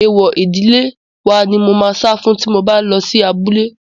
Èèwọ̀ ìdílé wa ni mò máa sá fún tí mo bá lọ sí abúlé.